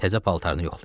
Təzə paltarını yoxlayır.